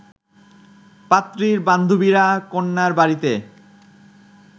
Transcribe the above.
পাত্রীর বান্ধবীরা কন্যার বাড়িতে